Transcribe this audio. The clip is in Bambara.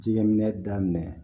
Jɛgɛ minɛ daminɛ